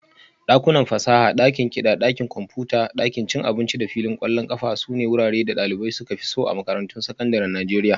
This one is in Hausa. Dakunan fasaha, dakin kiɗa, ɗakin kwamfuta, ɗakin cin abinci da filin ƙwallon ƙafa sune wuraren da ɗalibai suka fi so a makarantun sakandaren Najeriya